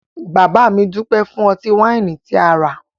Bàbá mi dúpẹ́ fún ọtí-wáìnì tí a rà